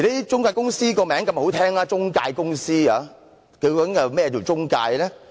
中介公司的名字這麼好聽，究竟何謂"中介"呢？